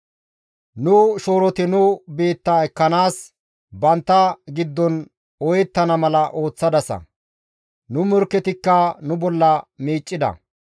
Nu shooroti nu biitta ekkanaas bantta giddon ooyettana mala ooththadasa; nu morkketikka nu bolla miiccida.